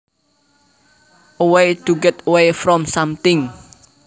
A way to get away from something